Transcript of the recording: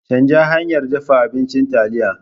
Canja hanyar dafa abincin taliya.